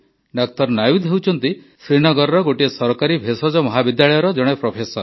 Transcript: ଡାକ୍ତର ନାୱିଦ୍ ହେଉଛନ୍ତି ଶ୍ରୀନଗରର ଗୋଟିଏ ସରକାରୀ ଭେଷଜ ମହାବିଦ୍ୟାଳୟର ଜଣେ ପ୍ରଫେସର